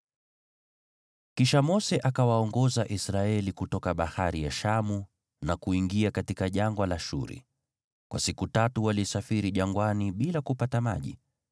Kisha Mose akawaongoza Israeli kutoka Bahari ya Shamu na kuingia katika Jangwa la Shuri. Kwa siku tatu walisafiri jangwani bila kupata maji.